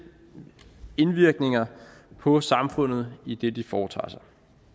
indvirkninger på samfundet i det de foretager sig